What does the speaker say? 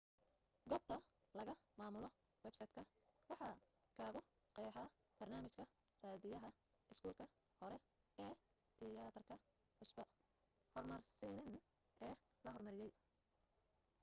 goobta laga maamulo websayt ka waxaa kagu qeexa barnaamijka raadiyaha iskuulka hore ee tiyaatarka cusba hormarsanana ee la hormariyey